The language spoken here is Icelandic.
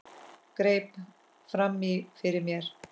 Greip fram í fyrir mér.